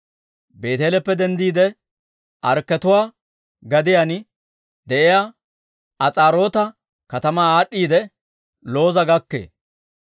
Beeteeleppe denddiide, Arkketuwaa gadiyaan de'iyaa As'aaroota katamaa aad'd'iidde, Looza gakkee.